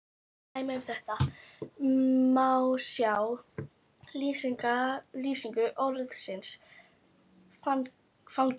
Dæmi um þetta má sjá í lýsingu orðsins fangelsi